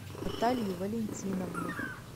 наталью валентиновну